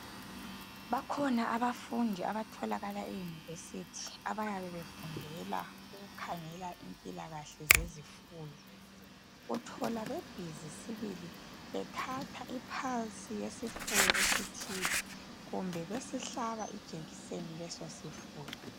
Bakhona abafundi abatholaka eyunivesithi abayabe befundela ukukhangela impilakahle zezifuyo. Uthola bebhizi sibili bethatha ipulse yesifuyo esithile kumbe besihlaba ijekiseni leso sifuyo.